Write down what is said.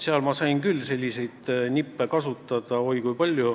Seal ma sain oi kui palju selliseid nippe kasutada.